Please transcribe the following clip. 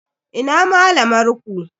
Ina malamar ku?